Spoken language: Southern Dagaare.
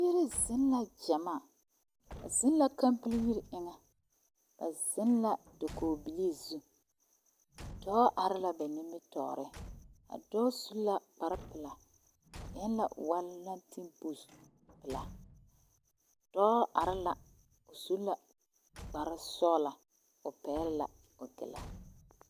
Dɔba ne pɔgeba bibilii nembɛrɛ zaa la be a zie ŋa ka dɔɔ kaŋa naŋ vɔgle zupili a su bonsɔglɔ ane pɔge kaŋa naŋ toŋ nɔɔtezeere a meŋ su bonsɔglɔ a nyɔge taa a are ne a ba nimitɔɔreŋ.